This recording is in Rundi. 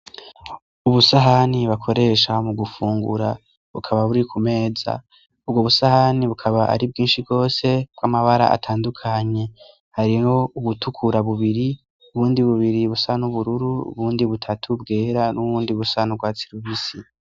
Ubusahani bakoresha ho mu gufungura bukaba buri ku meza ubwo busahani bukaba ari bwinshi rwose bw'amabara atandukanye hariho ugutukura bubiri ubundi bubiri busa n'ubururu bundi butatu bwera n'uwundi busan'ubwatsilubisi.